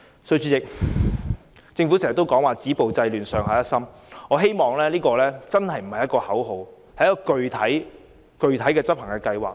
主席，政府經常說"止暴制亂"、"上下一心"，我希望這些並非只是口號，而是具體的執行計劃。